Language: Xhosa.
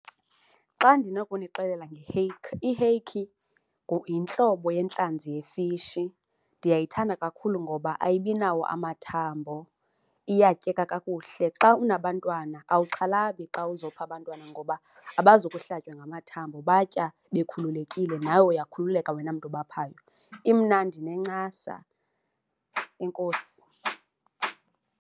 Xa ndinokunixela nge-hake, i-hake yintlobo yentlanzi yefishi. Ndiyayithanda kakhulu ngoba ayibinawo amathambo, iyatyeka kakuhle. Xa unabantwana awuxhalabi xa uzopha abantwana ngoba abazukuhlatywa ngamathambo batya bekhululekile, nawe uyakhululeka wena mntu ubaphayo. Imnandi inencasa. Enkosi.